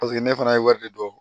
Paseke ne fana ye wari de don